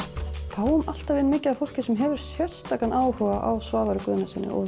fáum alltaf inn mikið af fólki sem hefur sérstakan áhuga á Svavari Guðnasyni